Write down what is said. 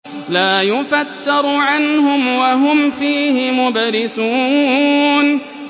لَا يُفَتَّرُ عَنْهُمْ وَهُمْ فِيهِ مُبْلِسُونَ